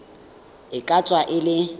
e ka tswa e le